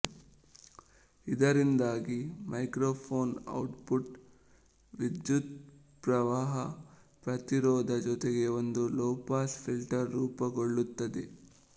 ಇದರಿಂದಾಗಿ microphone output ವಿದ್ಯುತ್ಪ್ರವಾಹ ಪ್ರತಿರೋಧ ಜೊತೆಗೆ ಒಂದು ಲೋಪಾಸ್ ಫಿಲ್ಟರ್ ರೂಪಗೊಳ್ಳುತ್ತದೆ